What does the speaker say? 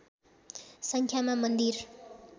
सङ्ख्यामा मन्दिर